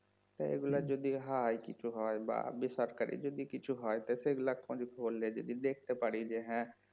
তা এইগুলা যদি হয় কিছু হয় বা বেসরকারি যদি কিছু হয় তা সেগুলা খোঁজ খবর লিয়ে যদি দেখতে পারি যে হ্যাঁ